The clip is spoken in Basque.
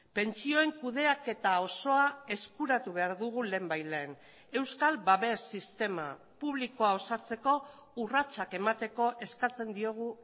pentsioen kudeaketa osoa eskuratu behar dugu lehenbailehen euskal babes sistema publikoa osatzeko urratsak emateko eskatzen diogu